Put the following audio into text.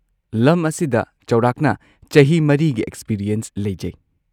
ꯂꯝ ꯑꯁꯤꯗ ꯆꯥꯎꯔꯥꯛꯅ ꯆꯍꯤ ꯴ꯒꯤ ꯑꯦꯛꯁꯄꯤꯔꯤꯌꯦꯟꯁ ꯂꯩꯖꯩ꯫